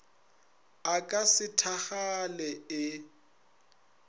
a ka se thakgale ee